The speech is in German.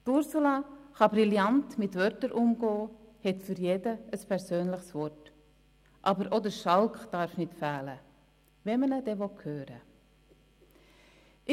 Ursula Zybach kann brillant mit Worten umgehen, hat für jeden ein persönliches Wort, aber auch der Schalk darf nicht fehlen, wenn man ihn hören will.